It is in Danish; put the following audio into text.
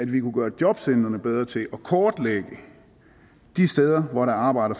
vi kunne gøre jobcentrene bedre til at kortlægge de steder hvor der er arbejde